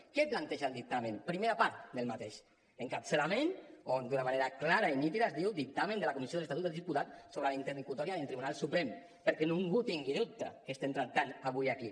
què planteja el dictamen primera part d’aquest encapçalament on d’una manera clara i nítida es diu dictamen de la comissió de l’estatut dels diputats sobre la interlocutòria del tribunal suprem perquè ningú tingui dubte què estem tractant avui aquí